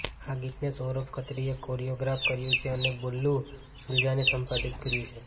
આ ગીતને સૌરભ ખત્રીએ કોરિઓગ્રાફ કર્યું છે અને બલ્લુ સલુજાને સંપાદિત કર્યું છે